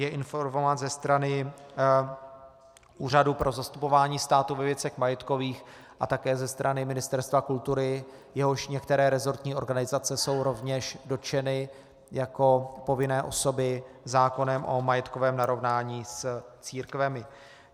Je informován ze strany Úřadu pro zastupování státu ve věcech majetkových a také ze strany Ministerstva kultury, jehož některé resortní organizace jsou rovněž dotčeny jako povinné osoby zákonem o majetkovém narovnání s církvemi.